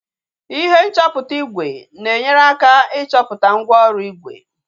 ihe nchọpụta ígwè na-enyere aka ịchọpụta mgwooru ígwè